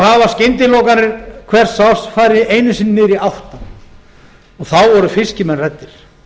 hafa skyndilokanir hvers árs farið einu sinni niður í átta og þá voru fiskimenn hræddir